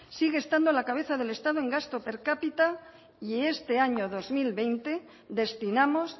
sigue estando a la cabeza del estado en gasto per cápita y este año dos mil veinte destinamos